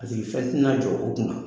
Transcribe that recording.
Paseke fɛn tɛna jɔ o kun na.